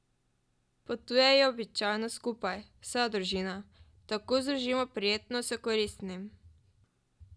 Potujejo običajno skupaj, vsa družina: 'Tako združimo prijetno s koristnim.